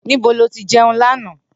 Nibo lo ti jeun lana?